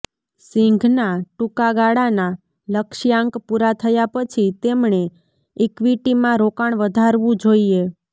સિંઘના ટૂંકા ગાળાના લક્ષ્યાંક પૂરા થયા પછી તેમણે ઇક્વિટીમાં રોકાણ વધારવું જોઈએ